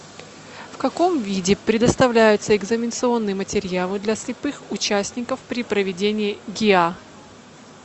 в каком виде предоставляются экзаменационные материалы для слепых участников при проведении гиа